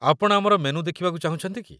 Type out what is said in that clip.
ଆପଣ ଆମର ମେନୁ ଦେଖିବାକୁ ଚାହୁଁଛନ୍ତି କି?